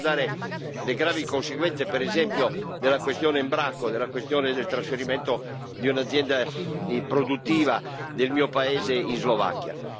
Vorrei ricordare le gravi conseguenze, per esempio, della questione Embraco, della questione del trasferimento di un'azienda produttiva del mio paese in Slovacchia.